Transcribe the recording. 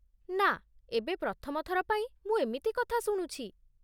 ନା, ଏବେ ପ୍ରଥମ ଥର ପାଇଁ ମୁଁ ଏମିତି କଥା ଶୁଣୁଛି!